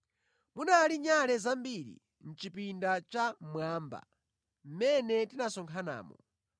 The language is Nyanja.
Munali nyale zambiri mʼchipinda chammwamba mʼmene tinasonkhanamo.